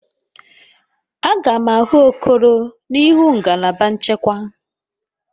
Aga m ahụ Okoro n'ihu ngalaba nchekwa.